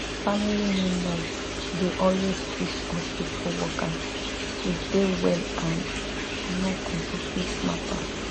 family members dey always teach hospitu workers to dey well and no complicate matter